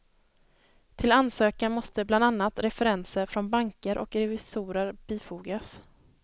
Till ansökan måste bland annat referenser från banker och revisorer bifogas.